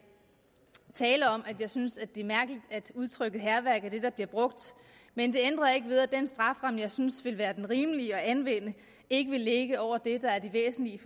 tale om at jeg synes det er mærkeligt at udtrykket hærværk er det der bliver brugt men det ændrer ikke ved at den strafferamme jeg synes vil være den rimelige at anvende ikke vil ligge over det der er det væsentlige